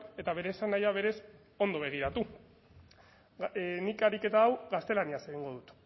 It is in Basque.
eta bere esanahia berez ondo begiratu nik ariketa hau gaztelaniaz egingo dut